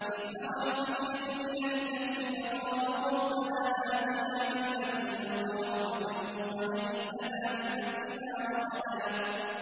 إِذْ أَوَى الْفِتْيَةُ إِلَى الْكَهْفِ فَقَالُوا رَبَّنَا آتِنَا مِن لَّدُنكَ رَحْمَةً وَهَيِّئْ لَنَا مِنْ أَمْرِنَا رَشَدًا